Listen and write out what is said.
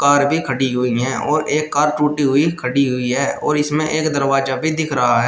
Car भी खड़ी हुई हैं और एक कार टूटी हुई खड़ी हुई है और इसमें एक दरवाजा भी दिख रहा है।